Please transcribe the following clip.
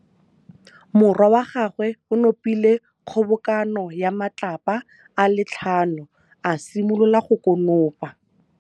Morwa wa gagwe o nopile kgobokanô ya matlapa a le tlhano, a simolola go konopa.